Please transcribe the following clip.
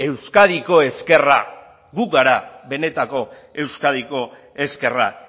euskadiko ezkerra gu gara benetako euskadiko ezkerra